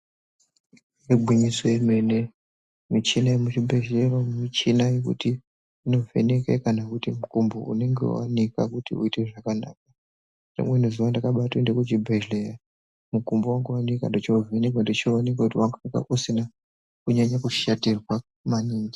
Igwinyiso remene michina yemuzvibhedhlera muchina wekuti inovheneka kana mukumbo unenge wanika kuti uite zvakanaka rimweni zuwa ndakatenda kuchibhedhlera ndochovhenwka ndochoona kuti mukumbo wangu wanga usina kurwadziwa maningi.